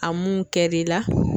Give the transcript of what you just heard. A mun kɛri la.